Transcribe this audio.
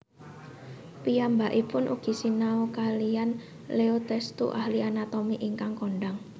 Piyambakipun ugi sinau kaliyan Leo Testut ahli anatomi ingkang kondhang